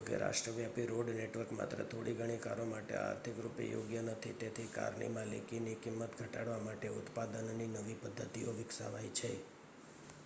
જોકે રાષ્ટ્રવ્યાપી road network માત્ર થોડીઘણી કારો માટે આર્થિક રૂપે યોગ્ય નથી તેથી કારની માલિકીની કિંમત ઘટાડવા માટે ઉત્પાદનની નવી પદ્ધતિઓ વિકસાવાઈ છે